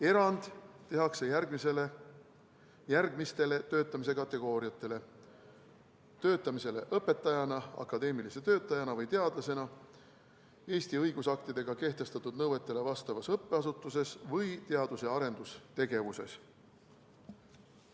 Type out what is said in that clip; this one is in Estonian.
Erand tehakse järgmistele töötamise kategooriatele: töötamisele õpetajana, akadeemilise töötajana või teadlasena Eesti õigusaktidega kehtestatud nõuetele vastavas õppeasutuses või teadus- ja arendusasutuses.